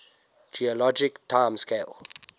geologic time scale